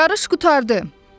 Yarış qurtardı.